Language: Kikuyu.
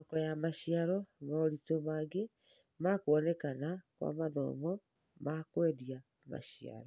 Thoko ya maciaro: Moritũ mangĩ ma kuonekana kwa mathoko ma kũendia maciaro.